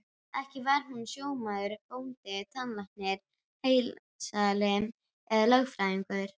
Ekki var hún sjómaður, bóndi, tannlæknir, heildsali eða lögfræðingur.